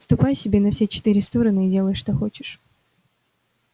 ступай себе на все четыре стороны и делай что хочешь